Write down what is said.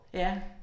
Ja